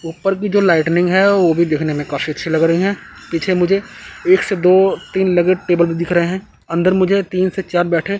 ऊपर की जो लाइटिंग है वो भी दिखने में काफी अच्छी लग रही हैं पीछे मुझे एक से दो तीन लगे टेबल दिख रहे हैं अंदर मुझे तीन से चार बैठे--